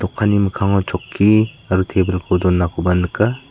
dokanni mikkango chokki aro tebilko donakoba nika.